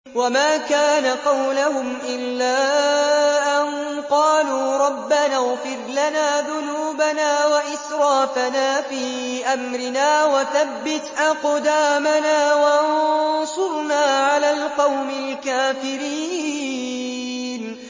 وَمَا كَانَ قَوْلَهُمْ إِلَّا أَن قَالُوا رَبَّنَا اغْفِرْ لَنَا ذُنُوبَنَا وَإِسْرَافَنَا فِي أَمْرِنَا وَثَبِّتْ أَقْدَامَنَا وَانصُرْنَا عَلَى الْقَوْمِ الْكَافِرِينَ